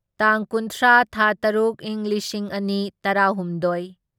ꯇꯥꯡ ꯀꯨꯟꯊ꯭ꯔꯥ ꯊꯥ ꯇꯔꯨꯛ ꯢꯪ ꯂꯤꯁꯤꯡ ꯑꯅꯤ ꯇꯔꯥꯍꯨꯝꯗꯣꯢ